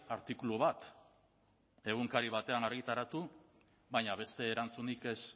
artikulu bat egunkari batean argitaratu baina beste erantzunik ez